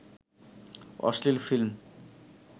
অশ্লীল ফিল্ম